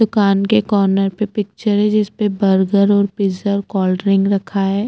दुकान के कार्नर पे पिक्चर है जिसपे बर्गर और पिज़्ज़ा और कौल्ड्रिंक रखा हैं।